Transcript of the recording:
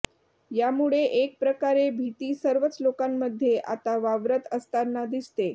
यामुळे एक प्रकारे भीती सर्वच लोकांमध्ये आता वावरत असताना दिसते